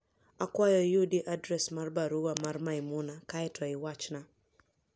Akwayo iyudi adres mar baruwa mar Maimuna kae to iwachna.